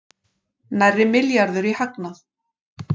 Nærri milljarður í hagnað